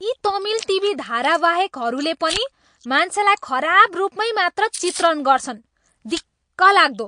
यी तमिल टिभी धारावाहेकहरूले पनि मान्छेलाई खराब रूपमै मात्र चित्रण गर्छन्। दिक्कलाग्दो!